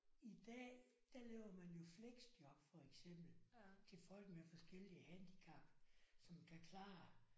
I dag der laver man jo fleksjob for eksempel til folk med forskellige handicap som kan klare